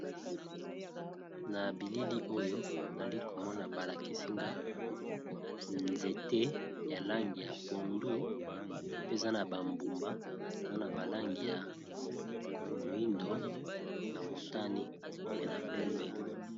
Na bilili oyo azoli komona balakisinga nzete ya langi ya pondu pe eza na bambuma eza na balangi ya moyindo na motani pe na pembe.